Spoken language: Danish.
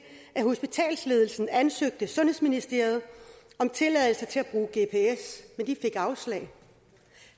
at hospitalsledelsen ansøgte sundhedsministeriet om tilladelse til at bruge gps men de fik afslag